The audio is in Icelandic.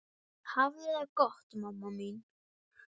Hafðu það gott mamma mín.